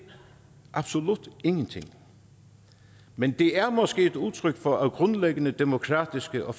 absolut ingenting men det er måske et udtryk for at grundlæggende demokratiske og